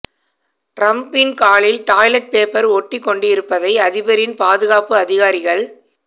ட்ரம்பின் காலில் toilet paper ஒட்டிக் கொண்டிருப்பதை அதிபரின் பாதுகாப்பு அதிகாரிகள்